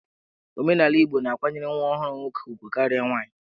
Omenala Igbo na-akwanyere nwa ọhụrụ nwoke ugwu karịa nwaanyị.